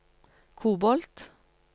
kobolt